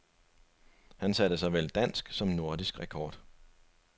Han satte såvel dansk som nordisk rekord.